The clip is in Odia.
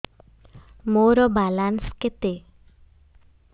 ମୋର ବାଲାନ୍ସ କେତେ